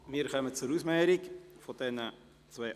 Wir kommen zur Ausmehrung der beiden Anträge.